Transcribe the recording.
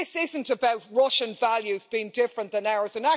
This isn't about Russian values being different than ours